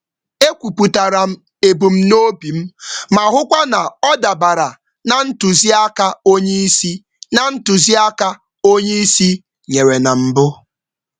M kesara echiche m nke ọma, na-ahụ na ọ na-ahụ na ọ dabara na nduzi oga nyere na mbụ.